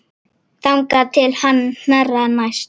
Þangað til hann hnerrar næst.